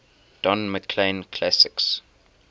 don mclean classics